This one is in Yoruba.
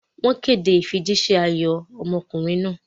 Wọ́n kéde ìfijíṣẹ́ ayọ̀ ọmọkùnrin wọn.